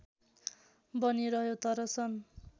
बनिरह्यो तर सन्